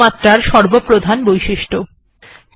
এটি সুমাত্রা র সর্বপ্রধান বৈশিষ্ট্য